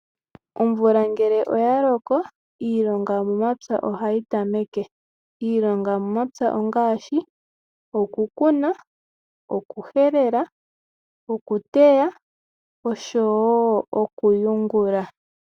Omvula ngele oyaloko, iilonga yomomapya ohayi tameke. Iilonga yomomapya ongaashi, okukuna, okuhelela, okuteya, noshowo okuyungula.